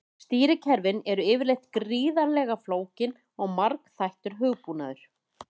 Stýrikerfi eru yfirleitt gríðarlega flókin og margþættur hugbúnaður.